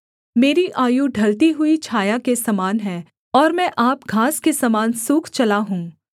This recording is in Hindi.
मेरी आयु ढलती हुई छाया के समान है और मैं आप घास के समान सूख चला हूँ